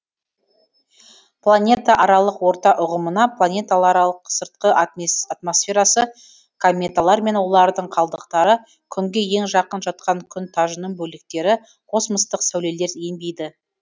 планета аралық орта ұғымына планеталардың сыртқы атмосферасы кометалар мен олардың қалдықтары күнге ең жақын жатқан күн тажының бөліктері космостық сәулелер енбейді